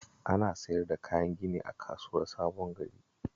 Ana siyar da kayan gini a Kasuwar Sabon Gari